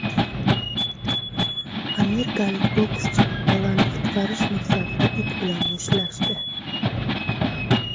Amerikalik bokschi bolani qutqarish maqsadida it bilan mushtlashdi.